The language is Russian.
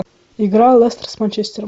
игра лестер с манчестером